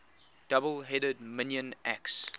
double headed minoan axe